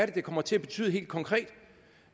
det kommer til at betyde helt konkret